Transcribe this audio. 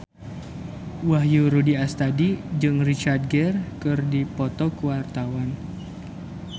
Wahyu Rudi Astadi jeung Richard Gere keur dipoto ku wartawan